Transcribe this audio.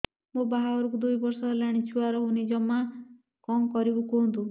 ମୋ ବାହାଘରକୁ ଦୁଇ ବର୍ଷ ହେଲାଣି ଛୁଆ ରହୁନି ଜମା କଣ କରିବୁ କୁହନ୍ତୁ